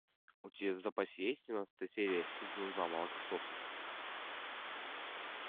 у тебя в запасе есть семнадцатая серия сезон два молокососы